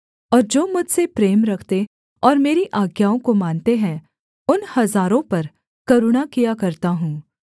और जो मुझसे प्रेम रखते और मेरी आज्ञाओं को मानते हैं उन हजारों पर करुणा किया करता हूँ